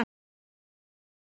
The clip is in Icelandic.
En samt